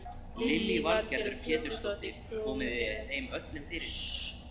Lillý Valgerður Pétursdóttir: Komið þeim öllum fyrir?